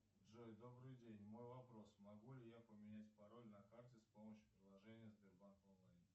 джой добрый день мой вопрос могу ли я поменять пароль на карте с помощью приложения сбербанк онлайн